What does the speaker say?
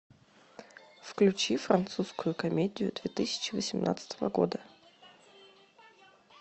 включи французскую комедию две тысячи восемнадцатого года